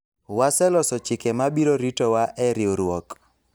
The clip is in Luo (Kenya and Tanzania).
waseloso chike ma biro ritowa e riwruok